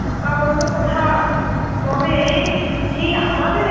বা অন্য কোথাও তবে এই এই আমাদের